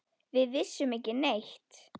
Við vissum ekki neitt.